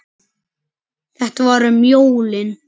Þetta var um jólin.